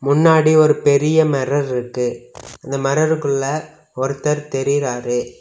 முன்னாடி ஒரு பெரிய மெரர் இருக்கு அந்த மெரருக்குள்ள ஒருத்தர் தெரியிராரு.